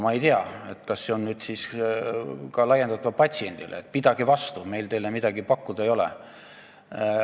Ma ei tea, kas seda tuleks nüüd siis laiendada ka patsientidele, et pidage vastu, meil teile midagi pakkuda ei ole.